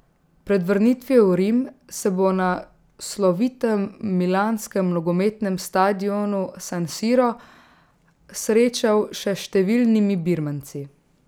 Pred vrnitvijo v Rim se bo na slovitem milanskem nogometnem stadionu San Siro srečal še s številnimi birmanci.